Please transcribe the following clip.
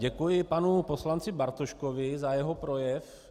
Děkuji panu poslanci Bartoškovi za jeho projev.